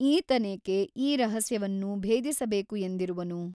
ಈತನೇಕೆ ಈ ರಹಸ್ಯವನ್ನು ಭೇದಿಸಬೇಕು ಎಂದಿರುವನು ?